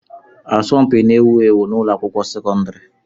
Asọmpi n'ewu ewu n'ụlọ akwụkwọ sekọndrị.